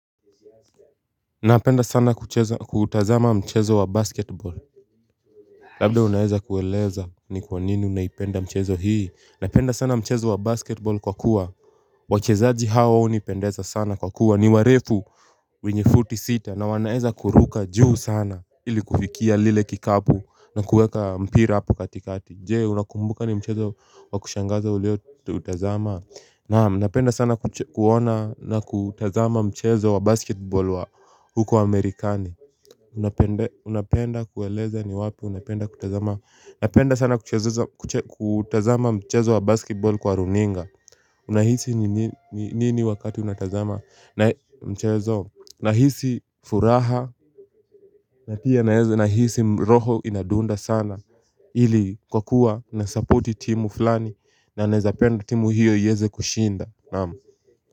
Napenda sana kuchezs kuutazama mchezo wa basketball Labda unaeza kueleza ni kwa nini unaipenda mchezo hii Napenda sana mchezo wa basketball kwa kuwa wachezaji hao hunipendeza sana kwa kuwa niwarefu wenye fut isita na wanaweza kuruka juu sana ili kufikia lile kikapu na kuweka mpira hapo katikati Jee unakumbuka ni mchezo wa kushangaza uleo utazama Naam unapenda sana kuona na kutazama mchezo wa basketball wa huko Amerikani Unapenda kueleza ni wapi unapenda kutazama napenda sana kutazama mchezo wa basketball kwa runinga Unahisi nini wakati unatazama mchezo nahisi furaha na hizi roho inadunda sana Hili kwa kuwa nasupporti timu fulani na unapenda timu hiyo yeze kushinda Naam.